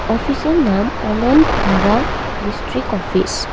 অফিসের নাম Ananta Dhara district office.